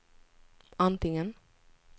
antingen